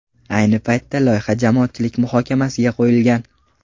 Ayni paytda loyiha jamoatchilik muhokamasiga qo‘yilgan.